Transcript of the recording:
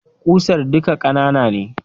Ƙusar duka ƙanana ne